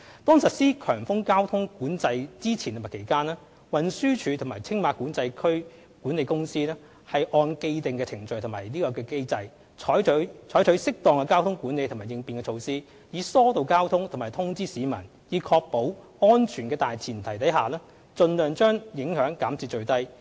當實施強風交通管制之前及期間，運輸署及青馬管制區管理公司按既定程序及機制，採取適當的交通管理和應變措施，以疏導交通及通知市民，在確保安全的大前提下盡量把影響減至最低。